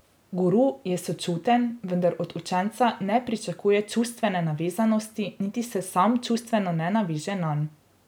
Guru je sočuten, vendar od učenca ne pričakuje čustvene navezanosti niti se sam čustveno ne naveže nanj.